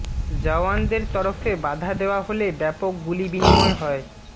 জওয়ানদের তরফে বাধা দেওয়া হলে ব্যাপক গুলি বিনিময় হয়